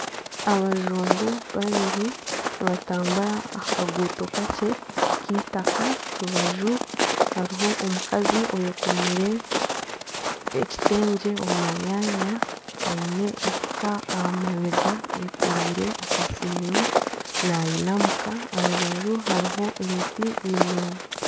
Abajungu babiri nibatambura aha kaguuto kakye K'itaka. Aharubaju hariho omukazi oyekomire ekitengye omumanyaanya aine efuka aha mabega, ayekoreire akasero nayinamuka aharubaju hariho emiti miringwa.